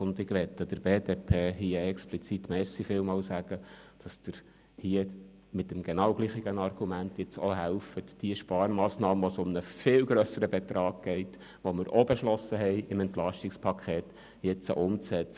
Ich möchte mich hier explizit bei der BDP bedanken, dass sie mit demselben Argument hilft, diese Sparmassnahme, bei welcher es um einen viel grösseren Betrag geht und die auch im EP beschlossen wurde, zu unterstützen.